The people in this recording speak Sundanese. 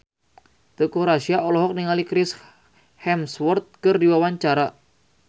Teuku Rassya olohok ningali Chris Hemsworth keur diwawancara